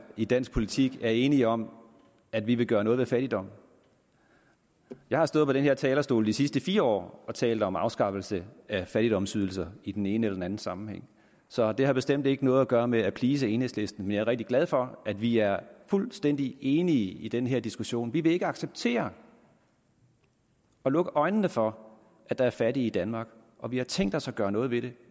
i dansk politik er enige om at vi vil gøre noget ved fattigdom jeg har stået på den her talerstol de sidste fire år og talt om afskaffelse af fattigdomsydelserne i den ene eller anden sammenhæng så det har bestemt ikke noget at gøre med at please enhedslisten men jeg er rigtig glad for at vi er fuldstændig enige i den her diskussion vi vil ikke acceptere og lukke øjnene for at der er fattige i danmark og vi har tænkt os at gøre noget ved det